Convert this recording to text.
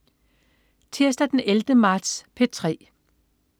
Tirsdag den 11. marts - P3: